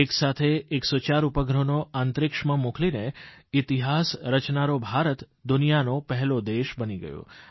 એક સાથે 104 ઉપગ્રહોને અંતરિક્ષમાં મોકલીને ઇતિહાસરચનારો ભારત દુનિયાનો પહેલો દેશ બની ગયો